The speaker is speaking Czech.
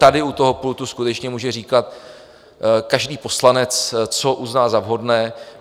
Tady u toho pultu skutečně může říkat každý poslanec, co uzná za vhodné.